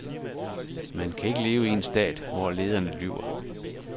Man kan ikke leve i en stat, hvor lederne lyver.